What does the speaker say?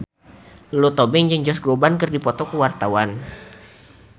Lulu Tobing jeung Josh Groban keur dipoto ku wartawan